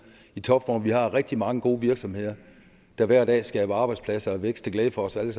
i topform vi har rigtig mange gode virksomheder der hver dag skaber arbejdspladser og vækst til glæde for os alle